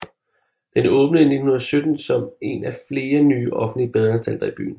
Den åbnede i 1917 som en af flere nye offentlige badeanstalter i byen